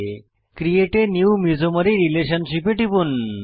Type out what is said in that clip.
create a new mesomery relationship এ টিপুন